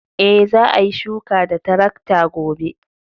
E, za a yi shuka da tarakta gobe.